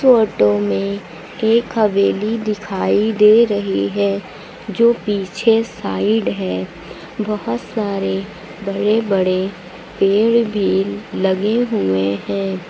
Photo में एक हवेली दिखाई दे रही है जो पीछे साइड है बहुत सारे बड़े बड़े पेड़ भी लगे हुए है।